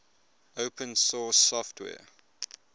open source software